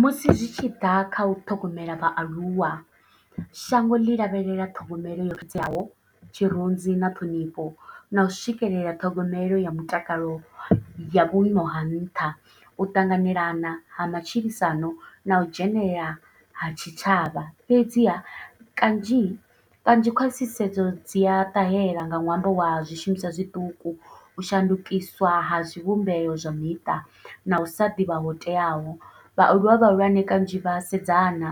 Musi zwi tshiḓa kha u ṱhogomela vhaaluwa shango ḽi lavhelela ṱhogomelo yo teaho, tshirunzi na ṱhonifho nau swikelela ṱhogomelo ya mutakalo ya vhuimo ha nṱha, u ṱanganelana ha matshilisano nau dzhenelela ha tshitshavha fhedziha kanzhi kanzhi khwaṱhisedzo dzi a ṱahela nga ṅwambo wa zwishumiswa zwiṱuku u shandukiswa ha zwivhumbeo zwa miṱa, nau sa ḓivha ho teaho. Vhaaluwa vhahulwane kanzhi vha a sedzana